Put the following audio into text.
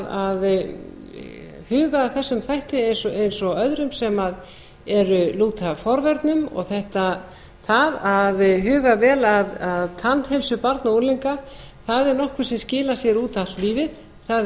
að huga að erum þætti eins og öðrum sem lúta að forvörnum og það að huga vel að tannheilsu barna og unglinga er nokkuð sem skilar sér út allt lífið það er